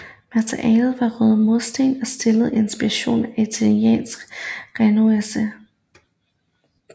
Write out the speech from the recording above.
Materialet var røde mursten og stilen inspireret af italiensk renæssance